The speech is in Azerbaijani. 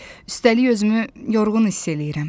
üstəlik özümü yorğun hiss eləyirəm.